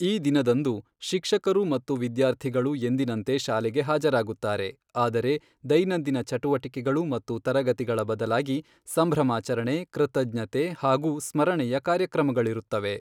ಈ ದಿನದಂದು, ಶಿಕ್ಷಕರು ಮತ್ತು ವಿದ್ಯಾರ್ಥಿಗಳು ಎಂದಿನಂತೆ ಶಾಲೆಗೆ ಹಾಜರಾಗುತ್ತಾರೆ, ಆದರೆ ದೈನಂದಿನ ಚಟುವಟಿಕೆಗಳು ಮತ್ತು ತರಗತಿಗಳ ಬದಲಾಗಿ ಸಂಭ್ರಮಾಚರಣೆ, ಕೃತಜ್ಞತೆ ಹಾಗೂ ಸ್ಮರಣೆಯ ಕಾರ್ಯಕ್ರಮಗಳಿರುತ್ತವೆ.